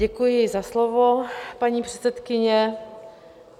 Děkuji za slovo, paní předsedkyně.